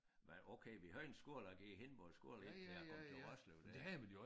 Men okay vi havde en skole jeg gik i Hindborg Skole indtil jeg kom til Roslev der